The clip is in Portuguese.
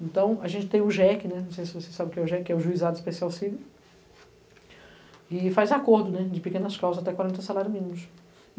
Então, a gente tem o JEC, né, não sei se vocês sabem o que é o JEC, que é o Juizado Especial Cível, e faz acordo, né, de pequenas causas até quarenta salários mínimos.